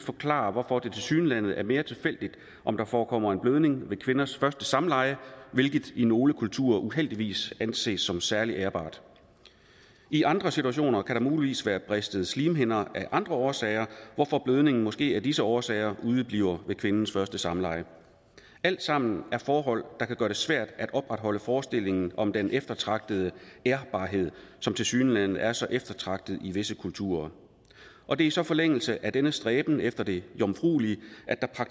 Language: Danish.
forklarer hvorfor det tilsyneladende er mere tilfældigt om der forekommer en blødning ved kvinders første samleje hvilket i nogle kulturer uheldigvis anses som særlig ærbart i andre situationer kan der muligvis være bristede slimhinder af andre årsager hvorfor blødningen måske af disse årsager udebliver ved kvindens første samleje alt sammen er forhold der kan gøre det svært at opretholde forestillingen om den eftertragtede ærbarhed som tilsyneladende er så eftertragtet i visse kulturer og det er så i forlængelse af denne stræben efter det jomfruelige